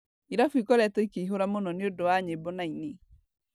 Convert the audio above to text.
Irabu ikoretwo ikĩhũra mũno nĩ ũndũ wa nyĩmbo na aini.